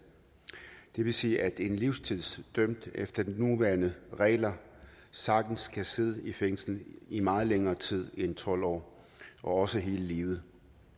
det vil sige at en livstidsdømt efter de nuværende regler sagtens kan sidde i fængsel i meget længere tid end tolv år også hele livet